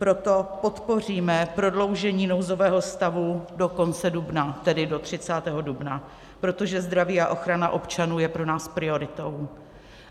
Proto podpoříme prodloužení nouzového stavu do konce dubna, tedy do 30. dubna, protože zdraví a ochrana občanů jsou pro nás prioritou.